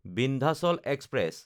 Vindhyachal express